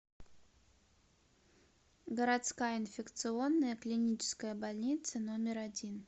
городская инфекционная клиническая больница номер один